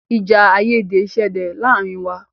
Ìjà àìyédè ṣẹlẹ̀ láàárín wa.